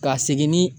Ka segin ni